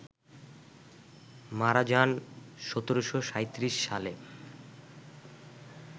মারা যান ১৭৩৭ সালে